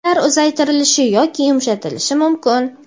ular uzaytirilishi yoki yumshatilishi mumkin.